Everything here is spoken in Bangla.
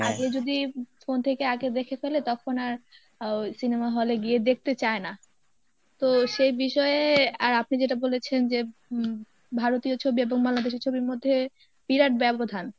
আগে যদি phone থেকে আগে দেখে ফেলে তখন আর ও cinema hall এ গিয়ে দেখতে চায় না তো সেই বিষয়ে আর আপনি যেটা বলেছেন যে হুম ভারতীয় ছবি এবং বাংলাদেশী ছবির মধ্যে বিরাট ব্যবধান